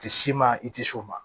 I tɛ s'i ma i tɛ s'o ma